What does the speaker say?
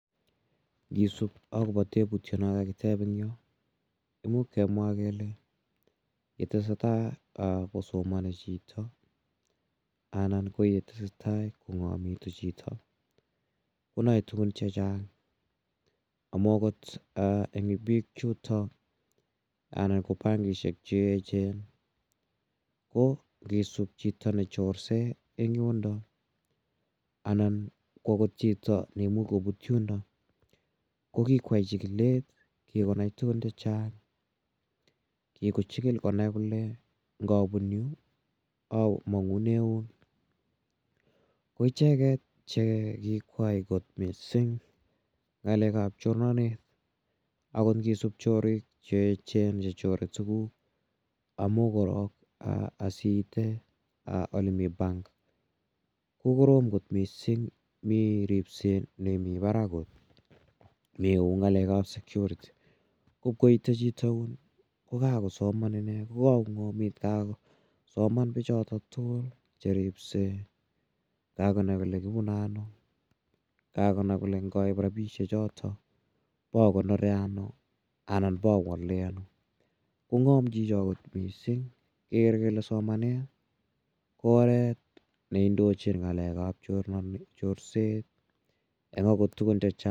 Ngisup akopa teputia no kakitep eng' yo. Imuch kemwa kele ye tese tai kosomani chito anan ko ye tese tai kong'amitu chito ko nae tugun che chang' amu agot eng' piik chutok anan ko bankishek che echen ko ngisup chito ne chorsei eng' yundok anan ko agot chito ne imuch koput yundok ko kikoyai chikilet, kikonai tugun che chang'. Kikochikil konai kole ngapun yu amang'une yun. Ko icheget che kikoyai kot missing' ng'alek ap chornanet. Agot ngisup choriik che echen che chore tuguk amu korok asi ite ole mi bank ko korom kot missing', mi ripset nemi parak kot. Mi yu eng' ng'alek ap security ngip koite chito yun ko kakosoman ine. Ko kakong'amit ko kakosoman pichotok tugul che ripsei, kakonai kole kipune ano, kakonai kole ngaip rapishechotok ip akonore ano anan ipa wale ano. Ko ng'am chicho kot missing' ker kele somanet ko oret ne indochin ng'alek ap chorset epa kot tugun che chang'.